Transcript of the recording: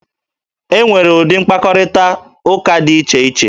E nwere ụdị mkparịtaụka dị iche iche